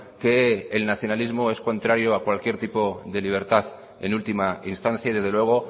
que el nacionalismo es contrario a cualquier tipo de libertad en última instancia y desde luego